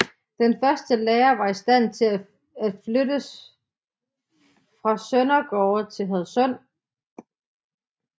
Den første lærer var i stand til at flyttes fra Søndergårde til Hadsund